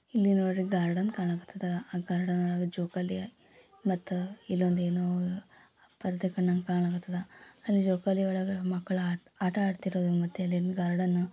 ಇಲ್ಲಿ ನೋಡ್ರಿ ಗಾರ್ಡನ್ ಕಣಕಥಾದ. ಆ ಗಾರ್ಡನ್ ಒಳಗ ಜೋಕಾಲಿ ಮತ್ತ ಇಲ್ಲೊಂದ್ ಏನೋ ಪರದೆ ಕಣಂಗ್ ಕಣಕಥಾದ. ಆ ಜೋಕಾಲಿ ಒಳಗೆ ಮಕ್ಲು ಆಟ ಆಡ್ತಿರೋದು ಮತ್ತೆ ಅಲ್ಲಿನ್ ಗಾರ್ಡೆನು --